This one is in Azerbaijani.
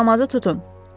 Bu yaramazı tutun.